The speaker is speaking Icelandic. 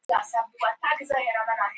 Þetta eru tvö efstu lið deildarinnar.